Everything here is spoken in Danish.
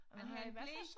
Han har en ble